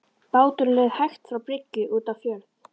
Báturinn leið hægt frá bryggju út á fjörð.